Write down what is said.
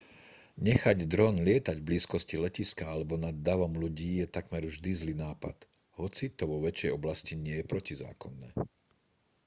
nechať dron lietať v blízkosti letiska alebo nad davom ľudí je takmer vždy zlý nápad hoci to vo vašej oblasti nie je protizákonné